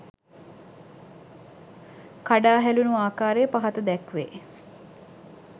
කඩා හැලුණු ආකාරය පහත දැක්වේ.